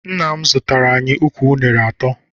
Nna m zụtara anyị ukwu unere atọ.